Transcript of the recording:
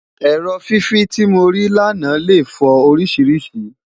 èrò fífi tí mori là nà lẹ fo orisirisii